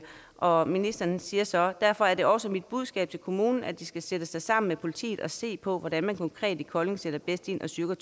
og ministeren siger så derfor er det også mit budskab til kommunen at de skal sætte sig sammen med politiet og se på hvordan man konkret i kolding sætter bedst ind og styrker